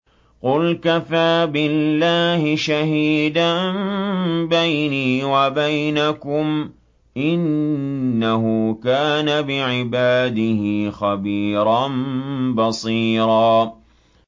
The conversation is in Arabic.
قُلْ كَفَىٰ بِاللَّهِ شَهِيدًا بَيْنِي وَبَيْنَكُمْ ۚ إِنَّهُ كَانَ بِعِبَادِهِ خَبِيرًا بَصِيرًا